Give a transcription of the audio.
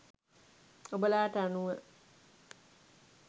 ඔබලාට අනුව